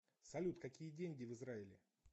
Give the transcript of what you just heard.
салют какие деньги в израиле